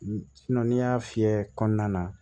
n'i y'a fiyɛ kɔnɔna na